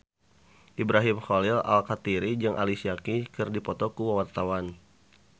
Ibrahim Khalil Alkatiri jeung Alicia Keys keur dipoto ku wartawan